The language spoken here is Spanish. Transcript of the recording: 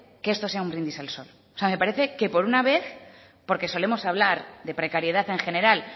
que esto sea un brindis al sol me parece que por una vez porque solemos hablar de precariedad en general